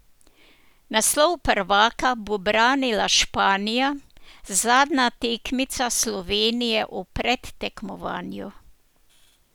Naslov prvaka bo branila Španija, zadnja tekmica Slovenije v predtekmovanju.